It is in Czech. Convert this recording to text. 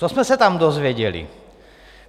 Co jsme se tam dozvěděli?